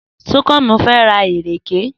Súnkànmí fẹ́ ra ìrèké.